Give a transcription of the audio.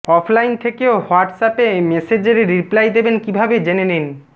offline থেকেও হোয়াটসঅ্যাপে মেসেজের রিপ্লাই দেবেন কীভাবে জেনে নিন